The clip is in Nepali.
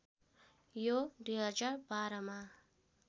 यो २०१२ मा